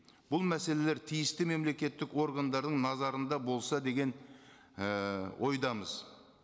бұл мәселелер тиісті мемлекеттік органдардың назарында болса деген і ойдамыз